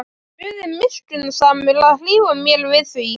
Guð er miskunnsamur að hlífa mér við því.